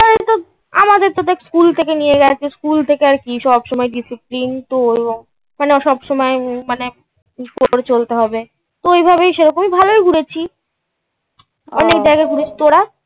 school থেকে নিয়ে গেছে, school থেকে আর কি. সব সময় discipline. মানে ও সব সময় মানে করে চলতে হবে. তো এইভাবেই সেরকমই ভালোই ঘুরেছি. অনেক জায়গায় ঘুরেছি। তোরা.